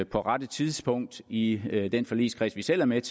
på rette tidspunkt i i den forligskreds vi selv er med